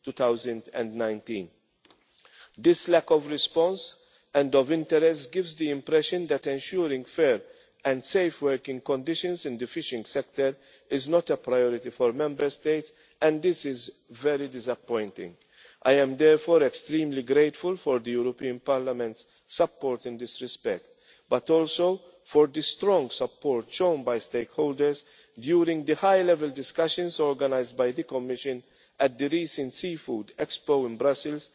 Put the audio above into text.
for early 2019. This lack of response and of interest gives the impression that ensuring fair and safe working conditions in the fishing sector is not a priority for Member States, and this is very disappointing. I am therefore extremely grateful for the European Parliament's support in this respect, but also for the strong support shown by stakeholders during the high level discussions organised by the Commission at the recent Seafood Expo